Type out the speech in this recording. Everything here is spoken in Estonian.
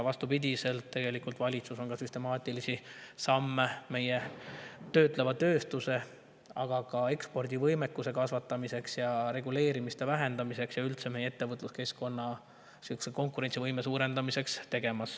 Vastupidi, valitsus teeb tegelikult süstemaatilisi samme meie töötleva tööstuse, aga ka ekspordivõimekuse kasvatamiseks, reguleerimise vähendamiseks ja üldse meie ettevõtluskeskkonna konkurentsivõime suurendamiseks.